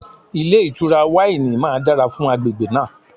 Ilé ìtura wáìnì máa dára fún agbègbè náà.